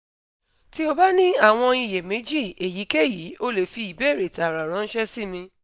ti o ba ni awọn iyemeji eyikeyi o le fi ibeere taara ranṣẹ si mi